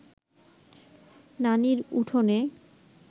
নানির উঠোনে